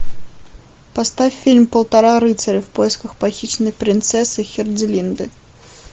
поставь фильм полтора рыцаря в поисках похищенной принцессы херцелинды